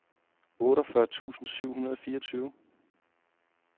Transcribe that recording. otteogfyrre tusind syv hundrede og fireogtyve